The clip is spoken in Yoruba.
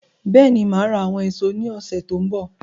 Bẹ́ẹ̀ni, máa ra àwọn èso ní ọsẹ tó n bọ